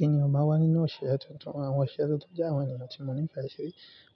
Kí ni ọ máa wà nínú òṣìṣẹ́ tuntun? Àwọn òṣìṣẹ́ tuntun jẹ́ àwọn ènìyàn tí mo nífẹ̀ẹ́ ṣi.